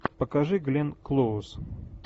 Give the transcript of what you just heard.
покажи гленн клоуз